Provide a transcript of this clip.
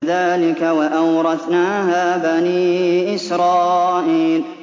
كَذَٰلِكَ وَأَوْرَثْنَاهَا بَنِي إِسْرَائِيلَ